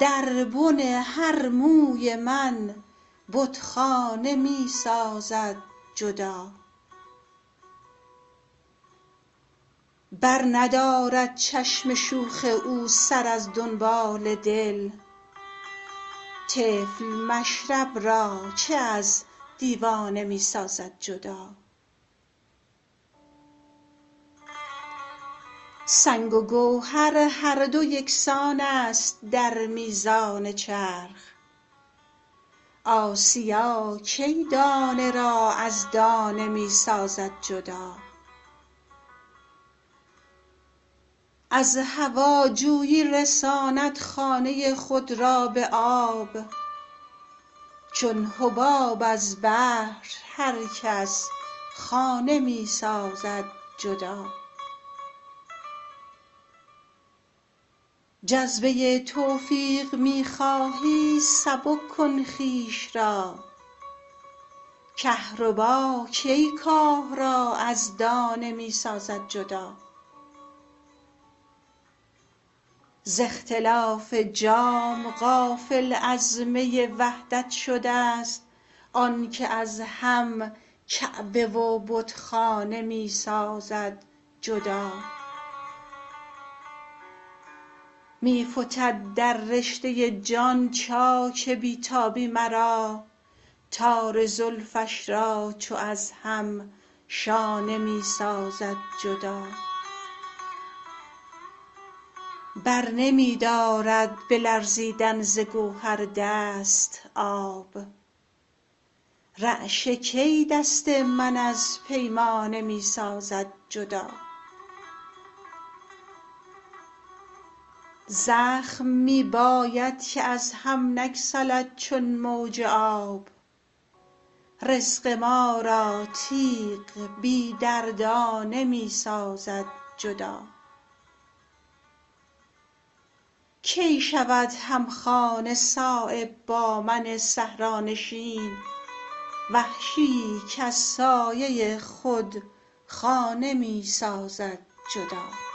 در بن هر موی من بتخانه می سازد جدا برندارد چشم شوخ او سر از دنبال دل طفل مشرب را که از دیوانه می سازد جدا سنگ و گوهر هر دو یکسان است در میزان چرخ آسیا کی دانه را از دانه می سازد جدا از هواجویی رساند خانه خود را به آب چون حباب از بحر هر کس خانه می سازد جدا جذبه توفیق می خواهی سبک کن خویش را کهربا کی کاه را از دانه می سازد جدا ز اختلاف جام غافل از می وحدت شده ست آن که از هم کعبه و بتخانه می سازد جدا می فتد در رشته جان چاک بی تابی مرا تار زلفش را چو از هم شانه می سازد جدا برنمی دارد به لرزیدن ز گوهر دست آب رعشه کی دست من از پیمانه می سازد جدا زخم می باید که از هم نگسلد چون موج آب رزق ما را تیغ بی دندانه می سازد جدا کی شود همخانه صایب با من صحرانشین وحشی ای کز سایه خود خانه می سازد جدا